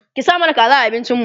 ki sa mana kaza a abincin mu